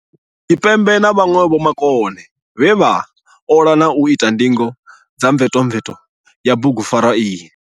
Tshipembe na vhanwe vhomakone vhe vha, ola na u ita ndingo dza mvetomveto ya bugupfarwa iyi.